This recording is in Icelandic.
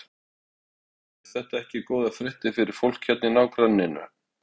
Andri Ólafsson: Eru þetta ekki góðar fréttir fyrir fólk hérna í nágrenninu?